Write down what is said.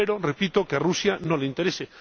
Espero, repito, que a Rusia no le interese.